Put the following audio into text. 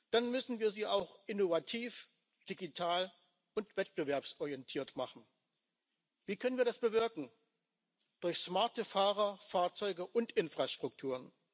Dann müssen wir sie auch innovativ, digital und wettbewerbsorientiert machen. Wie können wir das bewirken durch smarte Fahrer, Fahrzeuge und Infrastruktur.